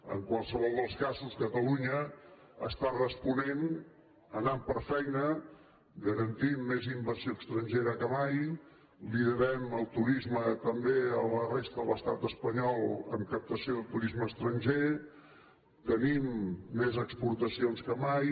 en qualsevol dels casos catalunya està responent anant per feina garantint més inversió estrangera que mai liderem el turisme també a la resta de l’estat espanyol en captació de turisme estranger tenim més exportacions que mai